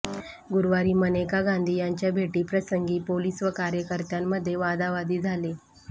गुरुवारी मनेका गांधी यांच्या भेटीप्रसंगी पोलिस व कार्यकर्त्यांमध्ये वादावादी झाली